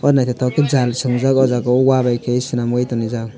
nythoktoke ke jaal swing jaak aw jaaga o wahh bi ke swnam oi ton reejak.